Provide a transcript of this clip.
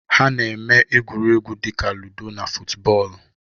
Ha na-eme egwuregwu dị ka ludo na futubọọlụ.